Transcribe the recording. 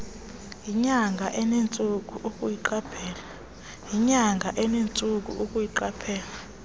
yinyanga enentsuku ukuyiqaphela